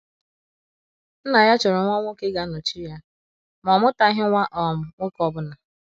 Nna ya chọrọ nwa nwoke ga - anọchi ya, ma o amụtaghị nwa um nwoke ọbụna.